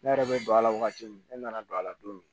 Ne yɛrɛ bɛ don a la wagati min ne nana don a la don min